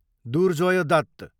Durjoy Dutt